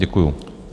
Děkuju.